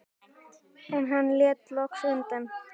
En hann lét loks undan.